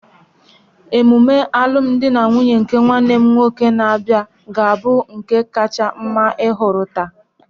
Emume alụm di na nwunye nke nwanne m nwoke na-abịa ga-abụ nke kacha mma ị hụtụrụla